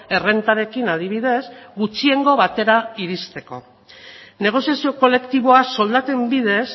errentarekin adibidez gutxiengo batera irizteko negoziazio kolektiboa soldaten bidez